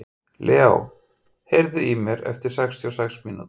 Leó, heyrðu í mér eftir sextíu og sex mínútur.